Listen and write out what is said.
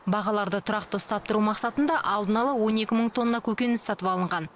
бағаларды тұрақты ұстап тұру мақсатында алдын ала он екі мың тонна көкөніс сатып алынған